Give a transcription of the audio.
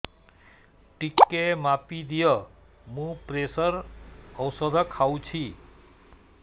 ଟିକେ ମାପିଦିଅ ମୁଁ ପ୍ରେସର ଔଷଧ ଖାଉଚି